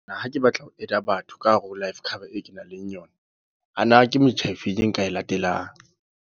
Ha ke batla ho add-a batho ka hare ho Life Cover e kenang le yona. A na ke metjha efeng e nka e latelang?